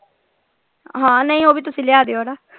ਹਾਂ ਨਹੀਂ ਉਹ ਵੀ ਤੁਸੀਂ ਲਿਆ ਦਿਓ ਨਾ